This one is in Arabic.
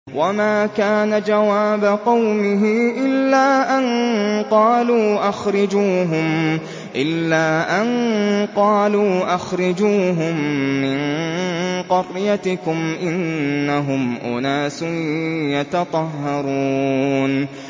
وَمَا كَانَ جَوَابَ قَوْمِهِ إِلَّا أَن قَالُوا أَخْرِجُوهُم مِّن قَرْيَتِكُمْ ۖ إِنَّهُمْ أُنَاسٌ يَتَطَهَّرُونَ